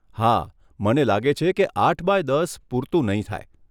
હા, મને લાગે છે કે આઠ બાય દસ પૂરતું નહીં થાય.